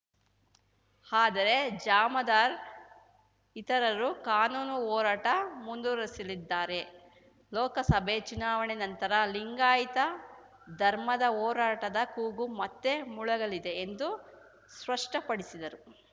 ಆದರೆ ಜಾಮದಾರ್ ಇತರರು ಕಾನೂನು ಹೋರಾಟ ಮುಂದುವರಿಸಲಿದ್ದಾರೆ ಲೋಕಸಭೆ ಚುನಾವಣೆ ನಂತರ ಲಿಂಗಾಯತ ಧರ್ಮದ ಹೋರಾಟದ ಕೂಗು ಮತ್ತೆ ಮೊಳಗಲಿದೆ ಎಂದು ಸ್ಪಷ್ಟಪಡಿಸಿದರು